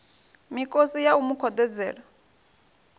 mikosi ya u mu khoḓedzela